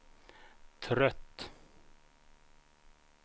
trött